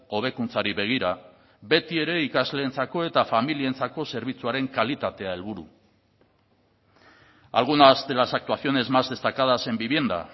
hobekuntzari begira beti ere ikasleentzako eta familientzako zerbitzuaren kalitatea helburu algunas de las actuaciones más destacadas en vivienda